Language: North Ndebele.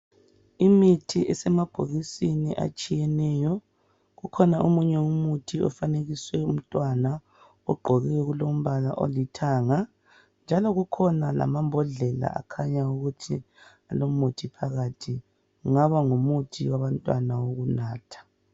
Imithi esemabhokisini atshiyeneyo. Kukhona omunye umuthi ofanekiswe umntwana ogqoke okulombala olithanga ,njalo kukhona lamambodlela akhanyayo ukuthi olomuthi phakathi kungaba ngumuthi wabantwana wokunatha.